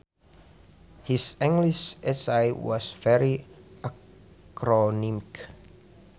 His English essay was very acronymic